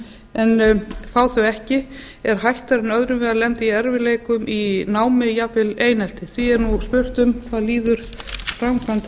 en fá þau ekki er hættara en öðrum til að lenda i erfiðleikum í námi jafnvel einelti því er nú spurt um hvað líður framkvæmd þessa